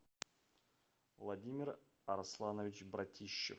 владимир арсланович братищев